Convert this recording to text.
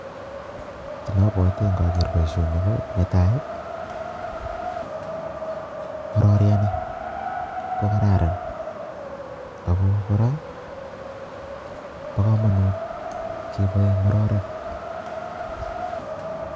Kiit nabwati ngageer boisioni ne tai, ngororieni ko kararan ako kora bo kamanut kepoe ngororek.